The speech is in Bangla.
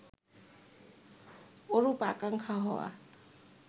ওরূপ আকাঙ্খা হওয়া